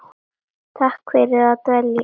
Takk fyrir að velja mig.